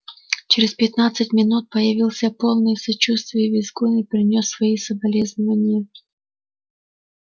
через пятнадцать минут появился полный сочувствия визгун и принёс свои соболезнования